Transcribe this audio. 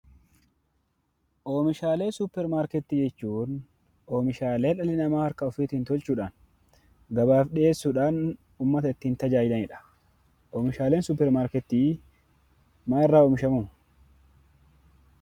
Oomishaalee suuparmarketii jechuun; oomishaalee dhalli namaa harka isaattin tolchudhaan gabaaf dhiyeessudhaan uummaata ittin taajajilaanidha. Oomishaaleen suuparmarketii maal irraa oomishaamuu?